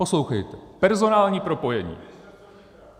Poslouchejte, personální propojení.